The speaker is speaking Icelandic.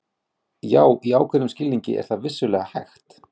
Já, í ákveðnum skilningi er það vissulega hægt.